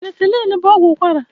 Penisilini bụ ọgwụ ụkwara.